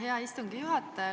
Hea istungi juhataja!